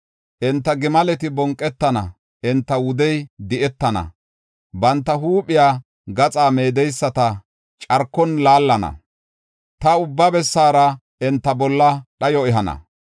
“Enta gimaleti bonqetana; enta wudey di7etana. Banta huuphiya gaxaa meedeyisata carkon laallana; ta ubba bessara enta bolla dhayo ehana.